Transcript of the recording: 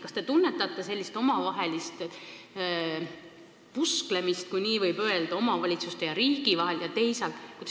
Kas te tunnetate sellist omavahelist pusklemist, kui nii võib öelda, omavalitsuste ja riigi vahel?